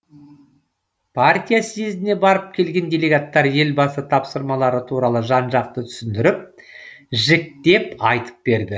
партия съезіне барып келген делегаттар елбасы тапсырмалары туралы жан жақты түсіндіріп жіктеп айтып берді